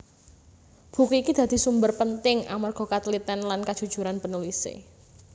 Buku iki dadi sumber penting amarga katliten lan kajujuran penulise